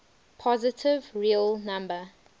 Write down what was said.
positive real number